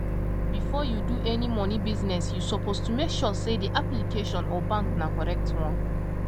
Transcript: before you do any money business you suppose to make sure say the application or bank na correct one